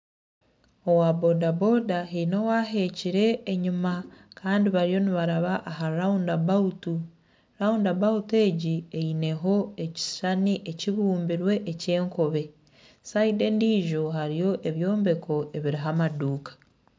Owa bodaboda haine owaheekire enyima Kandi bariyo nibaraba aha rurawunda abawutu egi eyineho nekishushani ekibumbe ekyenkobe sayidi endiijo hariyo ebyombeko ebirimu amaduuka